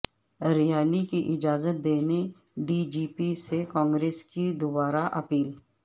rally کی اجازت دینے ڈی جی پی سے کانگریس کی دوبارہ اپیل